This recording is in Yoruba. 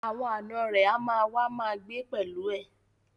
Àwọn ànọ́ rẹ̀ á ma wá ma gbé pẹ̀lú ẹ